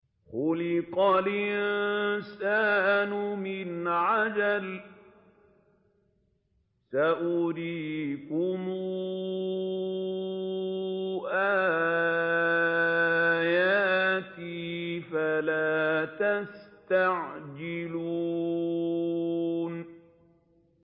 خُلِقَ الْإِنسَانُ مِنْ عَجَلٍ ۚ سَأُرِيكُمْ آيَاتِي فَلَا تَسْتَعْجِلُونِ